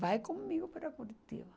Vai comigo para Curitiba.